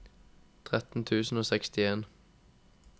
tretten tusen og sekstien